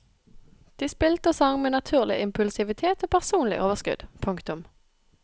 De spilte og sang med naturlig impulsivitet og personlig overskudd. punktum